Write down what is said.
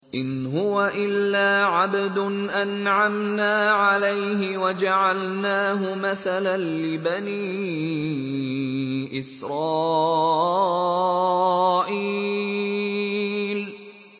إِنْ هُوَ إِلَّا عَبْدٌ أَنْعَمْنَا عَلَيْهِ وَجَعَلْنَاهُ مَثَلًا لِّبَنِي إِسْرَائِيلَ